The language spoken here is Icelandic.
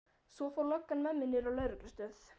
Svo fór löggan með mig niður á lögreglustöð.